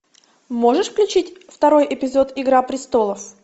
можешь включить второй эпизод игра престолов